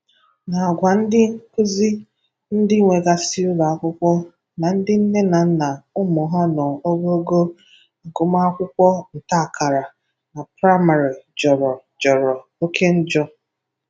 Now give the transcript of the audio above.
na àgwà ndị nkuzi, ndị nwegasị ụlọ akwụkwọ na ndị nne na nna ụmụ ha nọ n'ogogo agụmakwụkwọ ntaakara na praịmarị jọrọ jọrọ oke njọ.